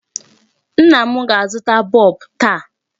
Nna m ga-azụta bulb taa.